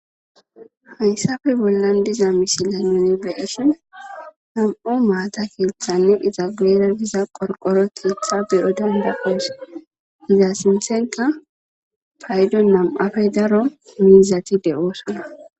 hayssafe bollan diza mishile nuni beyesin nam7u maata keethanni iza geera diza qorqoro tietha beyo dendakoos iza sinthenqa paydo nam7afe daro miizatide oosana